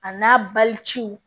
A n'a baliciw